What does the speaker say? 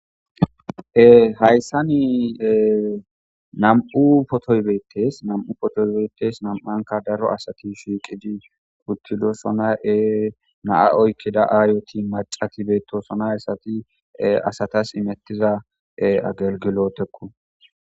Ehayssa ni nam'u potoybeetes nam'u potoybeetes nam7anka daro asati shiiqidi uttido sona7ee naa oykkida aariyoti macati beetosonay assati asatas imettiza agelgilootekku.